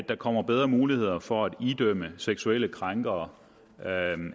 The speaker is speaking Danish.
der kommer bedre muligheder for at idømme seksuelle krænkere